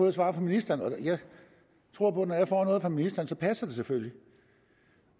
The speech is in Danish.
et svar fra ministeren om og jeg tror på at når jeg får noget fra ministeren så passer det selvfølgelig